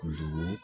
Dugu